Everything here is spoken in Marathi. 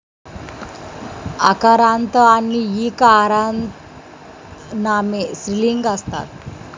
अकारान्त आणि ई कारांतनामे स्त्रीलिंगी असतात